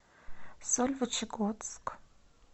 сольвычегодск